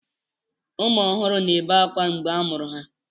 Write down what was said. Ụmụ ọhụrụ na-ebe ákwá mgbe a mụrụ ha.